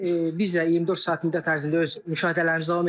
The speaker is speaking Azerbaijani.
Bir də biz də 24 saat müddət ərzində öz müşahidələrimizi davam etdiririk.